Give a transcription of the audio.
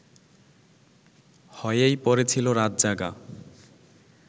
হয়েই পড়েছিল রাতজাগা